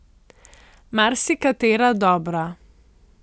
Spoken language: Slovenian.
Marsikatera dobra.